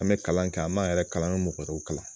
An be kalan kɛ an b'an yɛrɛ kalan an be mɔgɔ wɛrɛ kalan